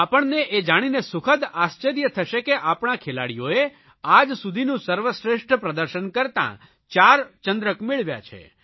આપણને એ જાણીને સુખદ આશ્ચર્ય થશે કે આપણા ખેલાડીઓએ આજ સુધીનું સર્વશ્રેષ્ઠ પ્રદર્શન કરતા 4 ચંદ્રક મેળવ્યા છે